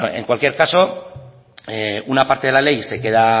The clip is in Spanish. bueno en cualquier caso una parte de la ley